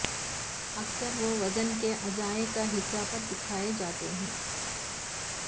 اکثر وہ وژن کے اعضاء کا حصہ پر دکھائے جاتے ہیں